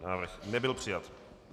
Návrh nebyl přijat.